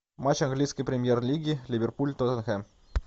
матч английской премьер лиги ливерпуль тоттенхэм